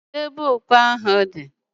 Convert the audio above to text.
Kedu ebe okpu ahu di?